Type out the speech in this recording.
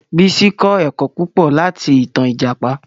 Bísí kọ́ ẹ̀kọ́ púpọ̀ láti ìtan Ìjàpá